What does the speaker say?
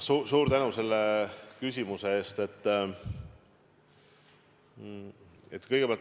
Suur tänu selle küsimuse eest!